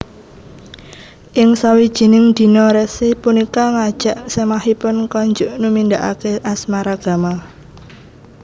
Ing sawijining dina resi punika ngajak semahipun konjuk numindakake asmaragama